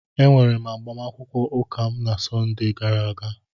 Emere m agbamakwụkwọ ụka m na Sọnde a gara aga